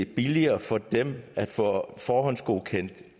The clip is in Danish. det billigere for dem at få forhåndsgodkendt